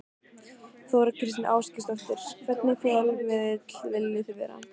Þóra Kristín Ásgeirsdóttir: Hvernig fjölmiðill viljið þið vera?